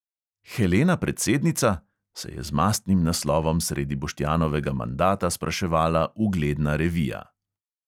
"Helena predsednica?" se je z mastnim naslovom sredi boštjanovega mandata spraševala ugledna revija.